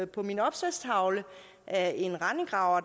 på min opslagstavle af en rendegraver